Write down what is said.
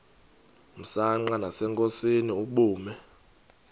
msanqa nasenkosini ubume